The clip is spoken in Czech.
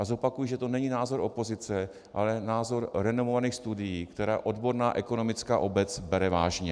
A zopakuji, že to není názor opozice, ale názor renomovaných studií, které odborná ekonomická obec bere vážně.